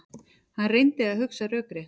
Hann reyndi að hugsa rökrétt.